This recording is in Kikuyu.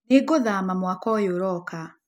Nĩngũthama mwaka ũyũ ũroka .